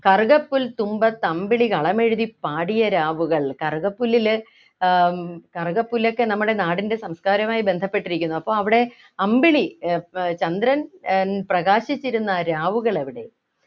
കറുകപ്പുൽത്തുമ്പത്തമ്പിളി കളമെഴുതിപ്പാടിയ രാവുകൾ കറുകപ്പുല്ലിലെ ആഹ് കറുകപ്പല്ലൊക്കെ നമ്മുടെ നാടിൻ്റെ സംസ്കാരമായി ബന്ധപ്പെട്ടിരിക്കുന്നു അപ്പൊ അവിടെ അമ്പിളി ഏർ ഏർ ചന്ദ്രൻ ഏർ പ്രകാശിച്ചിരുന്ന രാവുകൾ എവിടെ